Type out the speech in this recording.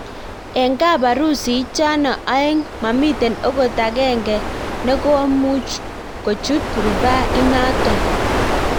Eng kaparusi ichano aeng mamiten okot agenge nekomuchkuchut rufaa inanito.